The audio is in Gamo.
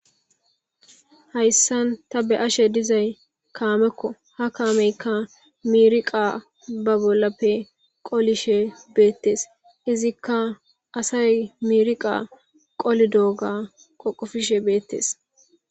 hayssan ta be ashe dizay kaamekko ha kaameykka miriqa ba bollappe qolishe beettees izikka asay miriqa qoli dooga qoqofishe beettes